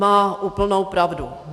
Má úplnou pravdu.